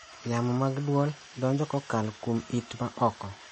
Yamo mag dwol donjo kokalo kuom it ma oko.